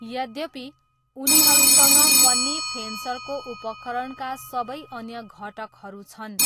यद्यपि, उनीहरूसँग पन्नी फेन्सरको उपकरणका सबै अन्य घटकहरू छन्।